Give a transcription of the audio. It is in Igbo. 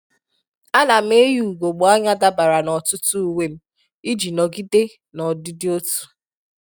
À nà m eyì ùgògbè ányá dabara na ọtụ́tụ́ uwe m iji nọgide n'ọdịdị otu